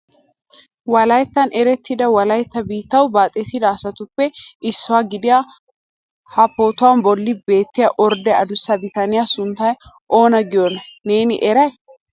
Wolayttan erettida Wolaytta biittaw baaxettida asatuppe issuwa gidiyaa ha pootuwaa bolli beettiya ordee addussa bitaniyaa suntta oona giyo neeni eray?